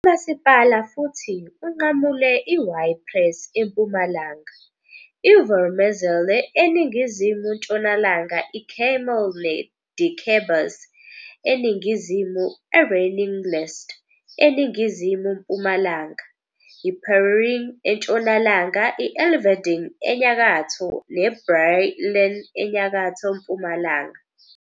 Umasipala futhi unqamule i-Ypres eMpumalanga, i-Voormezele eningizimu-ntshonalanga, iKemmel neDikkebus eningizimu, eReningelst eningizimu-mpumalanga, iPereringe entshonalanga, i-Elverdinge enyakatho neBrielen enyakatho-mpumalanga.